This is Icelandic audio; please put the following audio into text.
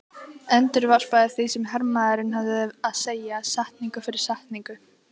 Endurvarpaði því sem hermaðurinn hafði að segja, setningu fyrir setningu